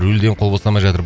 рульден қол босамай жатыр